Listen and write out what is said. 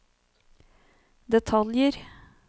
detaljer